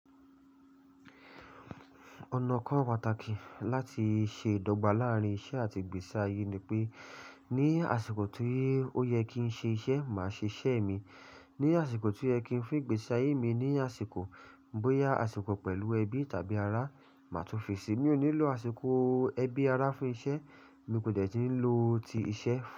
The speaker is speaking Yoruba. Ọ̀nà kan pàtàkì láti ṣe ìdọ́gba láàrín iṣẹ́ àti ìgbésí ayé ni pé ní àsìkò tí ó yẹ kí n ṣe iṣẹ́, màá ṣe iṣẹ́ mi. Ní àsìkò tí ó yẹ kí n fi ìgbésí ayé mi ní àsìkò, bóyá àsìkò pẹ̀lú ẹbí tàbí ará, màá tún fi sí i. Mi ò ní lo àsìkò ẹbí, ará fún iṣẹ́, mi kò jẹ̀rí ló ti iṣẹ́ fún.